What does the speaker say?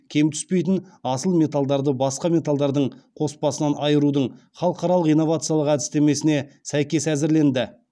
кем түспейтін асыл металдарды басқа металдардың қоспасынан айырудың халықаралық инновациялық әдістемесіне сәйкес әзірленді